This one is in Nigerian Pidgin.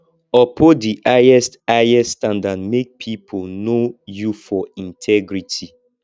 uphold di highest highest standard make pipo know you for integrity